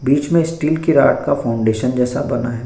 बीच मे स्टील की फाउंडेशन जैसा बना है।